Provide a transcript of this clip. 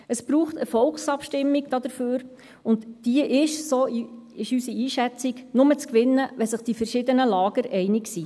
Dafür braucht es eine Volksabstimmung, und diese ist nur zu gewinnen – so unsere Einschätzung –, wenn sich die verschiedenen Lager einig sind.